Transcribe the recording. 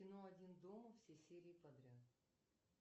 кино один дома все серии подряд